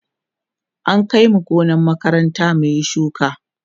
an Kai mu gonar makaranta mun Yi shuka